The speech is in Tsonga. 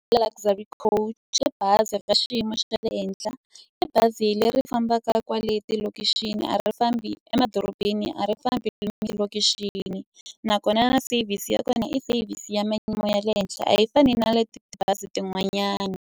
Luxury Coach i bazi ra xiyimo xa le henhla, i bazi leri fambaka kwale tilokixini a ri fambi emadorobeni a ri fambi malokixini. Nakona service ya kona i service ya ya le henhla a yi fani na leti tibazi tin'wanyani.